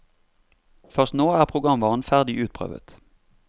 Først nå er programvaren ferdig utprøvet.